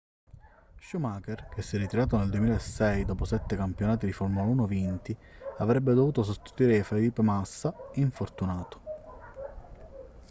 schumacher che si è ritirato nel 2006 dopo sette campionati di formula 1 vinti avrebbe dovuto sostituire felipe massa infortunato